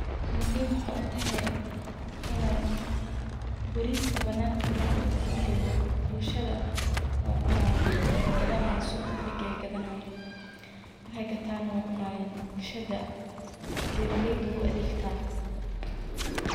Muhiim waxaay utahay in bariiska banaanka marka ladigo uu engago bulshada waay cunaayin, waay gadanaayin suuq inta lageyo ayeey gadanaayin, bulshada beeraleyda ayeey u adeegtaa.